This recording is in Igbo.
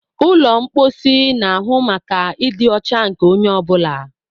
Ụlọ mposi na-ahụ maka ịdị ọcha nke onye ọ bụla.